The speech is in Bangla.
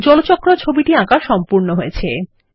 জলচক্র ছবিটি আঁকা সম্পন্ন হয়েছে160